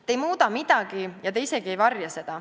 Te ei muuda midagi ja te isegi ei varja seda.